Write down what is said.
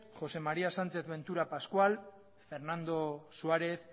josé maría sánchez ventura pascual fernando suárez